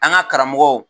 An ka karamɔgɔw